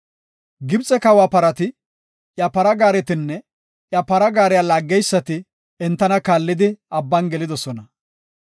Gibxe kawa parati, iya para gaaretinne iya para gaariya laaggeysati entana kaallidi, Abban gelidosona.